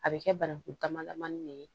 A bɛ kɛ bananku dama damani de ye